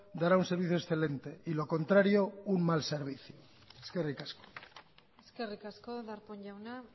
dará un servicio excelente y lo contrario un mal servicio eskerrik asko eskerrik asko darpón jauna